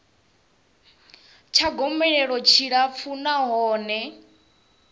tsha gomelelo tshi tshilapfu nahone